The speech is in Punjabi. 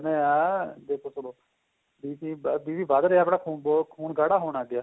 ਕਹਿਨੇ ਆ ਵੀ ਜਦੋਂਵੀ BP BP ਵੱਧ ਰਹਿਆ ਆਪਣਾ ਖੂਨ ਗਾੜਾ ਹੋਣ ਲੱਗ ਗਿਆ